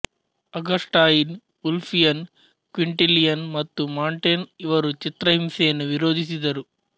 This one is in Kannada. ಅಗಸ್ಟಾಯಿನ್ ಉಲ್ಫಿಯನ್ ಕ್ವಿಂಟಿಲಿಯನ್ ಮತ್ತು ಮಾಂಟೇನ್ ಇವರು ಚಿತ್ರಹಿಂಸೆಯನ್ನು ವಿರೋಧಿಸಿದರು